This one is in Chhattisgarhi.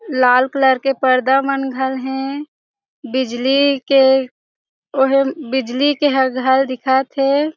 लाल कलर के पर्दा मन घन हे बिजली के ओहे बिजली के ह घर दिखत हे।